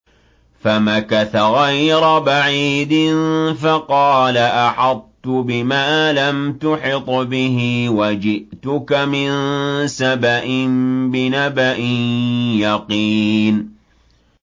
فَمَكَثَ غَيْرَ بَعِيدٍ فَقَالَ أَحَطتُ بِمَا لَمْ تُحِطْ بِهِ وَجِئْتُكَ مِن سَبَإٍ بِنَبَإٍ يَقِينٍ